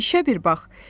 İşə bir bax.